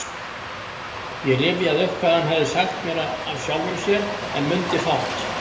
Ég rifjaði upp hvað hann hafði sagt mér af sjálfum sér, en mundi fátt.